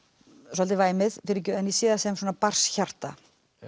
svolítið væmið fyrirgefðu en ég sé sem svona barnshjarta